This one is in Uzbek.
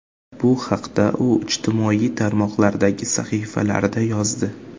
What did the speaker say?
Bu haqda u ijtimoiy tarmoqlardagi sahifalarida yozdi .